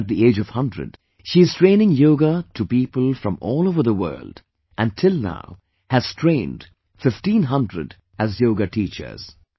Even at the age of 100, she is training yoga to people from all over the world and till now has trained 1500as yoga teachers